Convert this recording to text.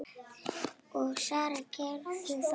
Og Sara gerði það.